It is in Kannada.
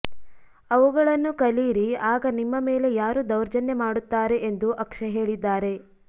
ಅವುಗಳನ್ನು ಕಲಿಯಿರಿ ಆಗ ನಿಮ್ಮ ಮೇಲೆ ಯಾರು ದೌರ್ಜನ್ಯ ಮಾಡುತ್ತಾರೆ ಎಂದು ಅಕ್ಷಯ್ ಹೇಳಿದ್ದಾರೆ